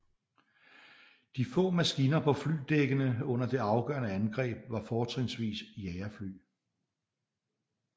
De få maskiner på flyvedækkene under det afgørende angreb var fortrinsvis jagerfly